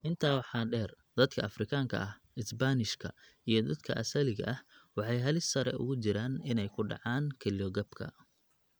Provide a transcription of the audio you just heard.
Intaa waxaa dheer, dadka Afrikaanka ah, Isbaanishka, iyo dadka asaliga ah waxay halis sare ugu jiraan inay ku dhacaan kelyo-gabka.